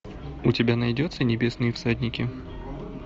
у тебя найдется небесные всадники